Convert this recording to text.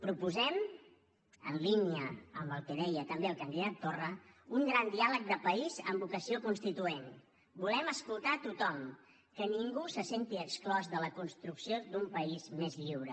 proposem en línia amb el que deia també el candidat torra un gran diàleg de país amb vocació constituent volem escoltar tothom que ningú se senti exclòs de la construcció d’un país més lliure